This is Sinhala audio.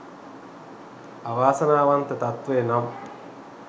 අවාසනාවන්ත තත්ත්වය නම්